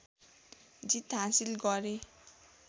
जित हाँसिल गरे